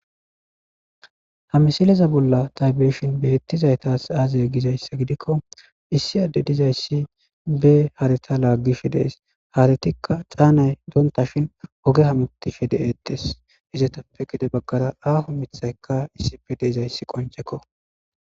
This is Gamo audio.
ha misileza bolla taybeeshin beettizaytas aazay gizayssa gidikko issi adde dizayssi be harita laaggishe dees haretikka caanay doonta shin oge hamutti she de7etes izetappe gide baggara aafo mithaykka issife deizayssi qoncekko